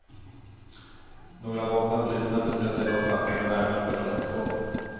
Några vakna polismän beslöt sig dock för att titta närmare på ett kassaskåp.